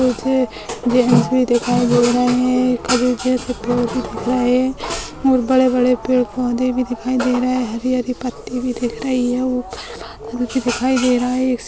मुझे जेंट्स भी दिखाई दे रहे हैं कभी भी दे सकते हो कि दिख रहा है और बड़े-बड़े पेड़ पौधे भी दिखाई दे रहा है हरी हरी पट्टी भी दिख रही है ऊपर बादल भी दिखाई दे रहा है।